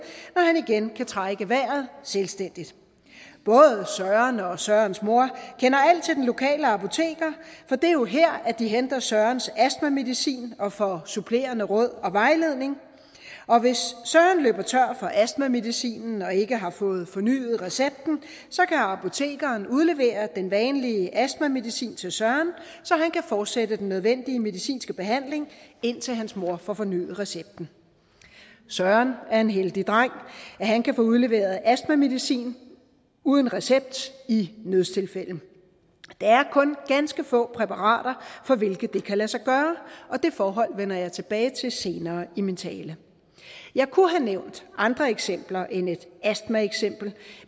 når han igen kan trække vejret selvstændigt både søren og sørens mor kender alt til den lokale apoteker for det er jo her de henter sørens astmamedicin og får supplerende råd og vejledning og hvis søren løber tør for astmamedicinen og ikke har fået fornyet recepten kan apotekeren udlevere den vanlige astmamedicin til søren så han kan fortsætte den nødvendige medicinske behandling indtil hans mor får fornyet recepten søren er en heldig dreng at han kan få udleveret astmamedicin uden recept i nødstilfælde det er kun ganske få præparater for hvilke det kan lade sig gøre og det forhold vender jeg tilbage til senere i min tale jeg kunne have nævnt andre eksempler end et astmaeksempel